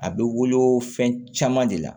A bɛ wolo fɛn caman de la